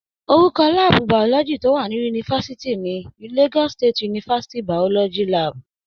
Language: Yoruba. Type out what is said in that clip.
Orúkọ láàbù biology tó wà ní yunifásitì ni "Lagos State University, Biology Lab."